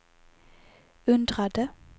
undrade